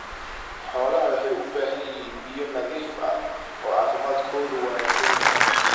Xooluhu waxay u baahan yihiin biyo nadiif ah oo caafimaadkoodu wanaagsan yahay.